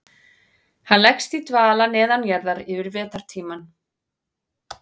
Hann leggst í dvala neðanjarðar yfir vetrartímann.